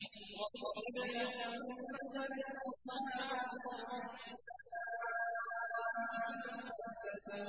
وَاضْرِبْ لَهُم مَّثَلًا أَصْحَابَ الْقَرْيَةِ إِذْ جَاءَهَا الْمُرْسَلُونَ